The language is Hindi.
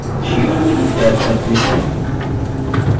sheet 2 टैब पर click करें